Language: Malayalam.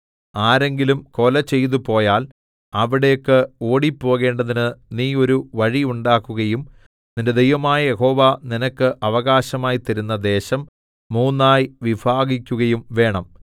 ആരെങ്കിലും കൊലചെയ്തുപോയാൽ അവിടേക്ക് ഓടിപ്പോകേണ്ടതിന് നീ ഒരു വഴി ഉണ്ടാക്കുകയും നിന്റെ ദൈവമായ യഹോവ നിനക്ക് അവകാശമായി തരുന്ന ദേശം മൂന്നായി വിഭാഗിക്കുകയും വേണം